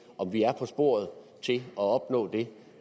om vi er på sporet af at opnå det